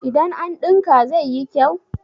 idan an dinka zai yi kyau?